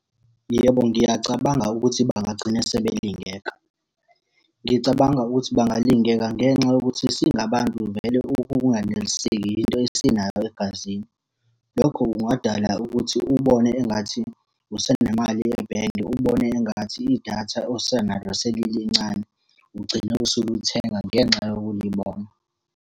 Yebo, ngiyacabanga ukuthi bangagcina sebelingeka. Ngicabanga ukuthi balingeka ngenxa yokuthi singabantu vele ukunganeliseki yinto esinayo egazini. Lokho kungadala ukuthi ubone engathi usenemali ebhenki, ubone engathi idatha osenalo selilincane. Ugcine usulithenga ngenxa yokulibona.